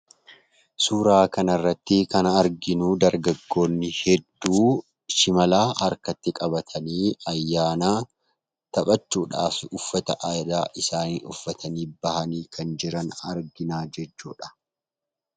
Suuraa kanarrattii kan arginuu dargaggoonni hedduu shimala harkatti qabatanii ayyaana taphachuudhaaf uffata aadaa isaanii uffatanii ba'anii kan jiran arginaa jechuudha.